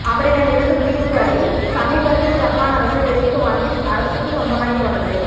அவரிடம் இருந்து தீவுகளை சமீபத்தில் ஜப்பான் அரசு விலைக்கு வாங்கி அரசுக்கு சொந்தமாக்கி கொண்டது